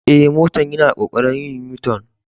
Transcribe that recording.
Eh, motan yana kokarin yin U-tun.